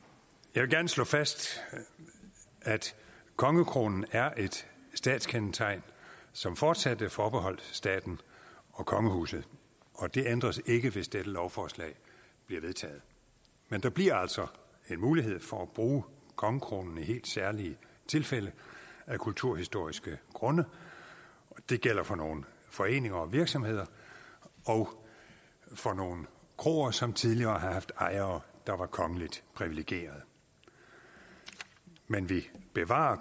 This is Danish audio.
jeg vil gerne slå fast at kongekronen er et statskendetegn som fortsat vil være forbeholdt staten og kongehuset og det ændres ikke hvis dette lovforslag bliver vedtaget men der bliver altså en mulighed for at bruge kongekronen i helt særlige tilfælde af kulturhistoriske grunde det gælder for nogle foreninger og virksomheder og for nogle kroer som tidligere har haft ejere der var kongeligt priviligerede men vi bevarer